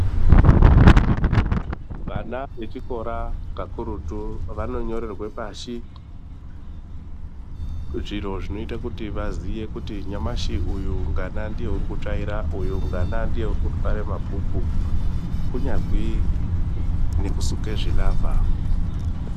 Vana vechikora kakurutu vanonyorerwe pashi zviro zvinoite kuti vaziye kuti nyamashi uyu ngana ndiye uri kutsvaira, uyu ngana ndiye urikutware mabhuku, kunyazwi nekusuke zvilavha.